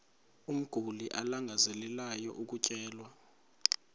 umguli alangazelelayo ukutyelelwa